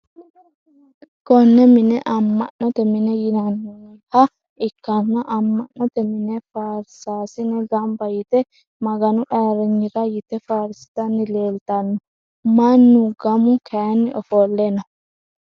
Kone mine ama`note mine yinayiha ikana ama`note mine faarsasine ganba yite maganu ayiriynira yite faarsitani leeltano mannu gamu kayini ofole no.